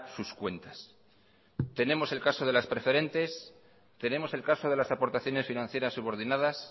sus cuentas tenemos el caso de las preferentes tenemos el caso de las aportaciones financieras subordinadas